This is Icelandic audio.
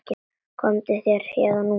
Komdu þér héðan út.